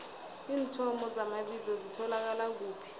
iinthomo zamabizo zitholakala kuphi